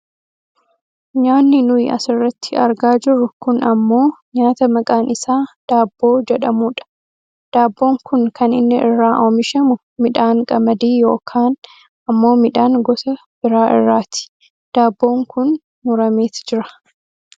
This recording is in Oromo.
Nyaanni nuyi asirratti argaa jirru kun ammoo nyaata maqaan isaa daabboo jedhamudha. daabboon kun kan inni irraa oomishamu midhaan qamadii yookkkaan ammoo midhaan gosa biraa irraati. daabboon kun murameet jira.